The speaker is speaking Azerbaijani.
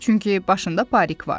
Çünki başında parik var.